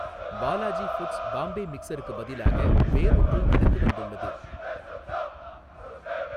Balaji foods Bombay மிக்சருக்குப் பதிலாக வேறொன்று எனக்கு வந்துள்ளது.